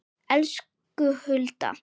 Elsku Hulda.